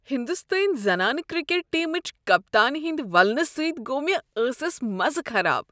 ہنٛدوستٲنۍ زنانہٕ کرکٹ ٹیمہ چہ کپتانہ ہندِ وولنہ سۭتۍ گوٚو مےٚ ٲسس مزے خراب۔